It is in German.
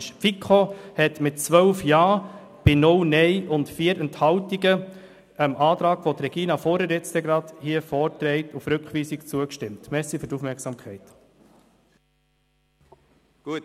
Die FiKo hat dem Antrag auf Rückweisung, den Regina Fuhrer gleich erläutern wird, mit 12 Ja bei 0 Nein und 4 Enthaltungen zugestimmt.